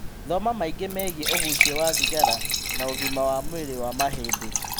Thoma maingĩ megiĩ ũgucia wa thigara na ũgima wa mwĩrĩ wa mahĩndĩ